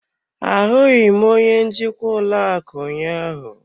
Ahụghị m onye njikwa ụlọ akụ ụnyaahụ.